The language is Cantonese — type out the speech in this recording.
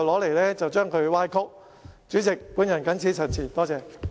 代理主席，我謹此陳辭，多謝。